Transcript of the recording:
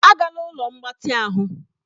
Agala ụlọ mgbatị ahụ!